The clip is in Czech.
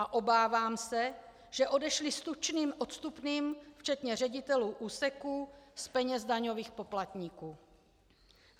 A obávám se, že odešli s tučným odstupným, včetně ředitelů úseků, z peněz daňových poplatníků.